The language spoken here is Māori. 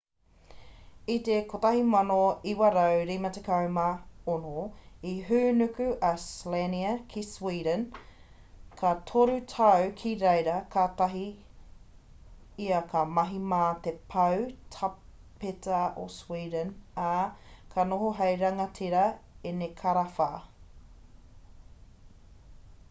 i te 1956 i hūnuku a slania ki sweden ka toru tau ki reira katahi ia ka mahi mā te pau tāpeta o sweden ā ka noho hei rangatira enekarawha